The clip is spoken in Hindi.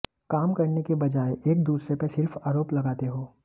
काम करने के बजाए एक दूसरे पर सिर्फ आरोप लगाते हो